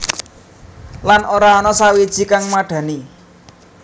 Lan ora ana sawiji kang madhani